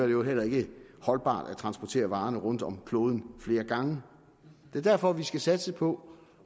jo heller ikke holdbart at transportere varerne rundt om kloden flere gange det er derfor vi skal satse på